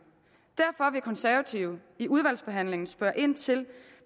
derfor vil konservative i udvalgsbehandlingen spørge ind til